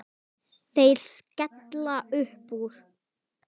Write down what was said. Þeir skella upp úr.